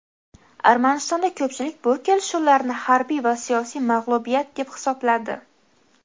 Armanistonda ko‘pchilik bu kelishuvlarni harbiy va siyosiy mag‘lubiyat deb hisobladi.